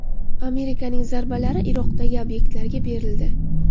Amerikaning zarbalari Iroqdagi obyektlarga berildi.